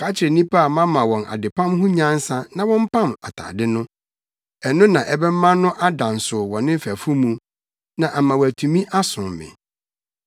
Ka kyerɛ nnipa a mama wɔn adepam ho nyansa na wɔmpam atade no. Ɛno na ɛbɛma no ada nsow wɔ ne mfɛfo mu na ama watumi asom me.